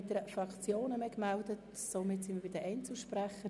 Wir kommen zu den Einzelsprechern.